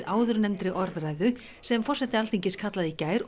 áðurnefndri orðræðu sem forseti Alþingis kallaði í gær